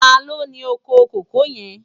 Tàló ni ókó kókòó yèn?